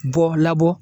Bɔ labɔ